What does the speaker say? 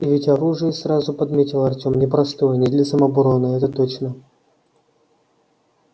и ведь оружие сразу подметил артем непростое не для самообороны это точно